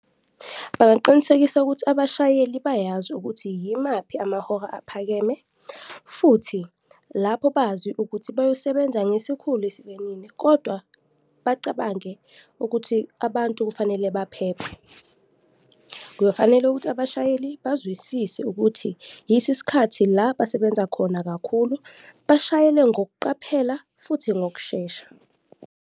Bangaqinisekisa ukuthi abashayeli bayazi ukuthi yimaphi amahora aphakeme futhi lapho bazi ukuthi bayosebenza ngesikhulu esivinini kodwa bacabange ukuthi abantu kufanele baphephe. Kuyofanele ukuthi abashayeli bazwisise ukuthi yiso isikhathi la basebenza khona kakhulu, bashayele ngokuqaphela futhi ngokushesha.